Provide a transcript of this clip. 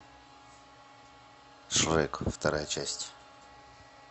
шрек вторая часть